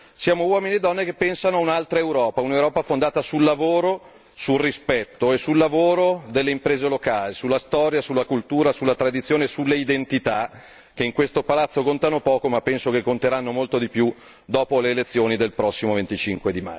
Siamo uomini e donne che pensano a un'altra Europa, un'Europa fondata sul lavoro, sul rispetto e sul lavoro delle imprese locali, sulla storia, sulla cultura, sulla tradizione, sulle identità, che in questo palazzo contano poco ma penso che conteranno molto di più dopo le elezioni del prossimo 25